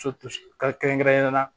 kɛrɛnkɛrɛnnenya la